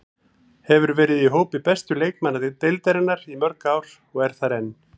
Hefur verið í hópi bestu leikmanna deildarinnar í mörg ár og er þar enn.